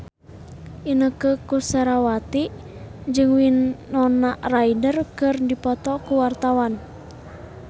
Inneke Koesherawati jeung Winona Ryder keur dipoto ku wartawan